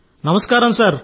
నమస్కారం సార్